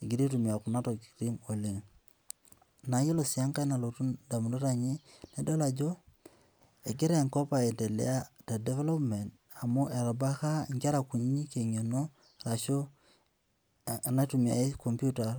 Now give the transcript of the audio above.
egira aitumia kuna tokiting oleng. Naa iyiolo sii enkae nalotu indamunot ainei, adol ajo egira enkop aendelea te development amu etubulaka inkera kunyinyi eng'eno ashu enaitumiae computer